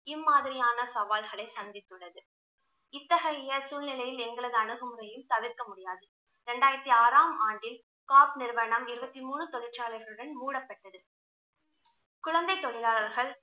இம்மாதிரியான சவால்களை சந்தித்துள்ளது இத்தகைய சூழ்நிலையில் எங்களது அணுகுமுறையும் தவிர்க்க முடியாதது. ரெண்டாயிரத்தி ஆறாம் ஆண்டில் நிறுவனம் இறுபத்தி மூனு தொழிற்சாலைகளுடன் மூடப்பட்டது குழந்தை தொழிலாளர்கள்